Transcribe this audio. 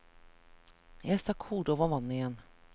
Jeg stakk hodet over vannet igjen.